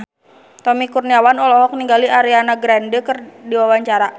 Tommy Kurniawan olohok ningali Ariana Grande keur diwawancara